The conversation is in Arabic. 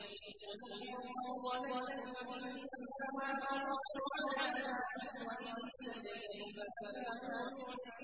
قُلْ إِن ضَلَلْتُ فَإِنَّمَا أَضِلُّ عَلَىٰ نَفْسِي ۖ وَإِنِ اهْتَدَيْتُ فَبِمَا